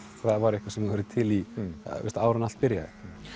það væri eitthvað sem þú værir til í áður en allt byrjaði